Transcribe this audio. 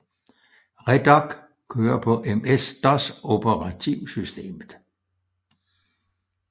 Redoc kørte på MS DOS operativsystemet